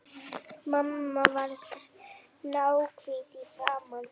Mamma varð náhvít í framan.